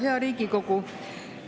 Hea Riigikogu!